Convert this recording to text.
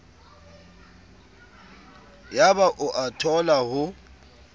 yaba o a thola ho